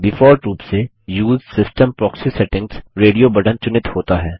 default रूप से उसे system proxy settings radio button चुनित होता है